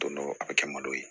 Don dɔ a kɛ man d'o ye